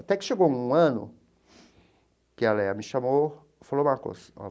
Até que chegou um ano que a Leia me chamou e falou uma coisa.